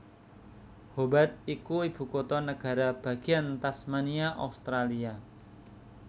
Hobart iku ibukutha negara bagéan Tasmania Australia